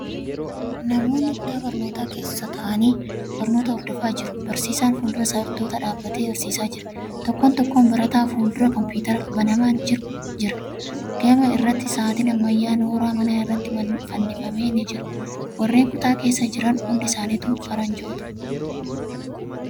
Namoonni kutaa barnootaa keessa taa'anii barnoota hordofaa jiru. Barsiisaan fuuldura barattootaa dhaabatee barsiisaa jira. Tokkon tokkoon barataa fuuldura kompiitarri banamaan jira. Gama irratti sa'aatiin ammayyaa nooraa manaa irratti fannifame ni jira. Warreen kutaa keessa jiran hundisaanitu faranjoota.